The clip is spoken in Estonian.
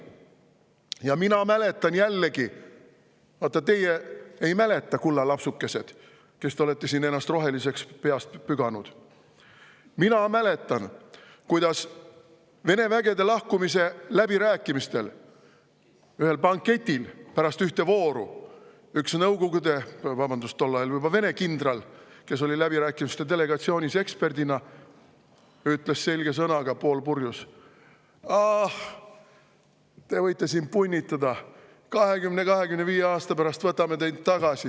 Ja mina mäletan jällegi – vaata, teie ei mäleta, kulla lapsukesed, kes te olete siin ennast peast roheliseks püganud, aga mina mäletan – seda, kuidas Vene vägede lahkumise läbirääkimistel ühel banketil pärast ühte vooru üks tol ajal juba Vene kindral, kes oli läbirääkimiste delegatsioonis ekspert, ütles selge sõnaga, poolpurjus: "Ah, te võite siin punnitada, 20–25 aasta pärast võtame teid tagasi!